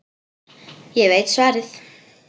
Ég veit svarið.